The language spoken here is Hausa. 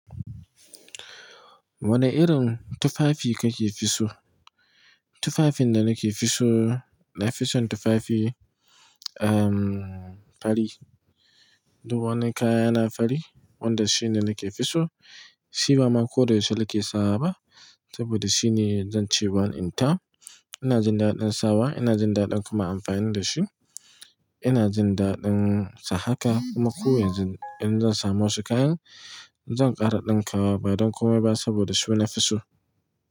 Wane irin tufafi kake fiso? Tufafin da nake fiso, nafison tufafi, ehm, fari. Duk wani kayana fari, wanda shi ne nake fisu. Shi ba ma koda yaushe nake sawa ba, saboda shi ne zan ce one in town. Ina jin daɗin sawa, ina jin daɗin kuma amfani da shi. Ina jin daɗin sa haka kuma ko yanzu in zan samu wasu kayan, zan ƙara ɗinka wa ba don komai ba saboda shi nafi so.